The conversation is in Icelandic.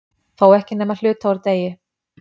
Þó ekki nema hluta úr degi.